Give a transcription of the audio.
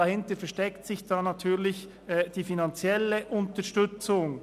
Dahinter versteckt sich dann natürlich die finanzielle Unterstützung.